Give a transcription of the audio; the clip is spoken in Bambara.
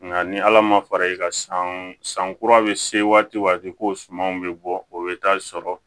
Nka ni ala ma fara i ka san san kura bɛ se waati ko sumanw bɛ bɔ o bɛ taa sɔrɔ